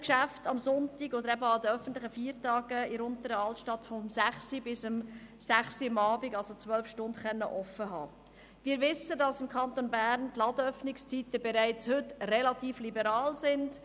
Wir wissen, dass die Ladenöffnungszeiten im Kanton Bern bereits heute relativ liberal sind.